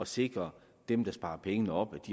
sikre at dem der sparer pengene op